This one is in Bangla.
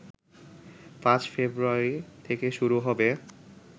৫ ফেব্রুয়ারি থেকে শুরু হবে